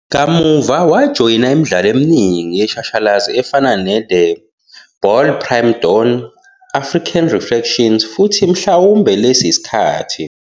Kamuva wajoyina imidlalo eminingi yeshashalazi efana "neThe Bald Prima Donn", "African Reflections" futhi "Mhlawumbe Lesi Isikhathi.